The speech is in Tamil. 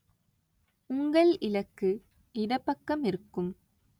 உங்கள் இலக்கு இடப்பக்கமிருக்கும்.